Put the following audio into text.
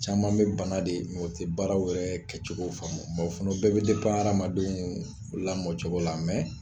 Caman bɛ bana de u tɛ baaraw yɛrɛ kɛcogo faamu o fana bɛɛ bɛ hadamadenw lamɔcogo la